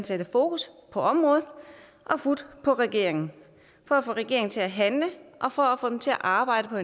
sætte fokus på området og fut på regeringen for at få regeringen til at handle og for at få den til at arbejde på